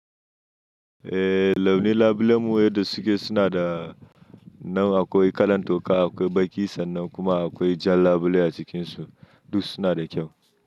Eh, launin labule mu yadda suke suna da, nan akwai kalan toka, akwai baki sannan kuma akwai jan labule a cikinsu. Duk suna da kyau.